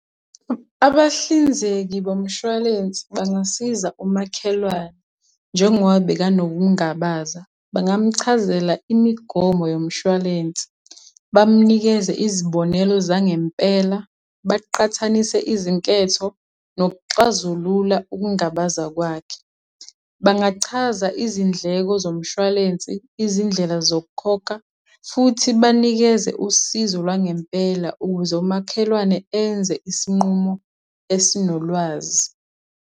Abahlinzeki bomshwalensi bangasiza umakhelwane njengoba bekanokungabaza, bangamchazela imigomo yomshwalensi. Bamnikeze izibonelo zangempela, baqhathanise izinketho, nokuxazulula ukungabaza kwakhe. Bangachaza izindleko zomshwalensi, izindlela zokukhokha, futhi banikeze usizo lwangempela ukuze umakhelwane enze isinqumo esinolwazi.